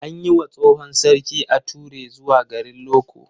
An yi wa tsohon sarki ature zuwa garin Loko.